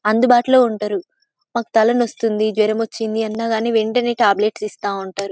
అందుబాటులో ఉంటారు . మాకు తలనొస్తుంది జ్వరం వచ్చింది అన్న కానీ వెంటనే టాబ్లెట్స్